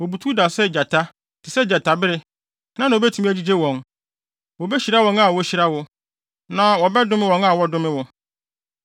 Wobutuw da sɛ gyata; te sɛ gyatabere, hena na obetumi agyigye wɔn? “Wobehyira wɔn a wohyira wo, na wɔbɛdome wɔn a wɔdome wo.”